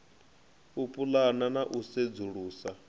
u pulana na u sedzulusa